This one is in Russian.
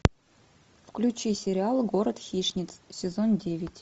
включи сериал город хищниц сезон девять